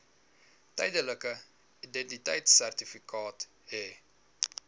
tydelike identiteitsertifikaat hê